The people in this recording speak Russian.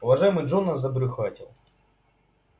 уважаемый джонас забрюхатил